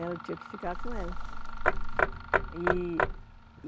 né, eu tinha que ficar com ela. E